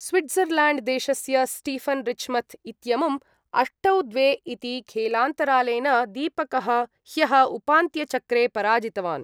स्विट्ज़रल्याण्ड्देशस्य Stefan Richmuth इत्यमुम् अष्टौ द्वे इति खेलान्तरालेन दीपकः ह्यः उपान्त्यचक्रे पराजितवान्।